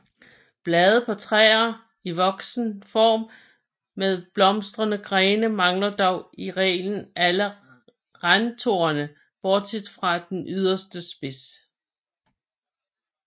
Blade på træer i voksen form med blomstrende grene mangler dog i reglen alle randtorne bortset fra den yderste spids